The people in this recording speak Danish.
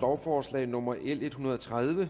lovforslag nummer l en hundrede og tredive